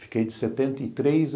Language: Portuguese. Fiquei de setenta e três